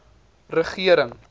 regering